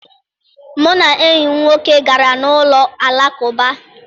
Mụ na enyi m nwoke gara n'ụlọ Alakụba